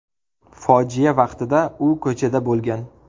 Fojia vaqtida u ko‘chada bo‘lgan.